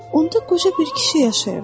Onda qoca bir kişi yaşayırdı.